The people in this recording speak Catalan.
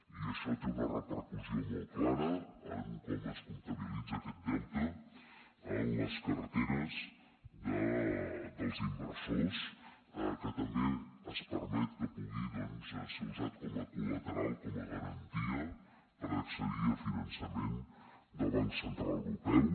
i això té una repercussió molt clara en com es comptabilitza aquest deute en les carteres dels inversors que també es permet que pugui doncs ser usat com a colateral com a garantia per accedir a finançament del banc central europeu